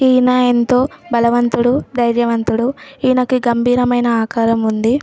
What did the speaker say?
ఈ అణా యెంతో బలవొంతుడు ధర్యవొంతుడు ఎఇనకు గబిరము ఏఇన ఆకారము ఉంది.